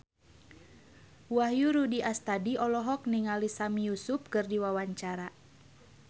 Wahyu Rudi Astadi olohok ningali Sami Yusuf keur diwawancara